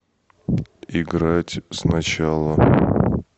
играть сначала